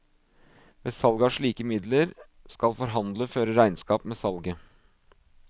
Ved salg av slike midler skal forhandler føre regnskap med salget.